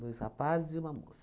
Dois rapazes e uma moça.